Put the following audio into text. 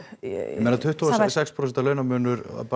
ég meina tuttugu og sex prósenta launamunur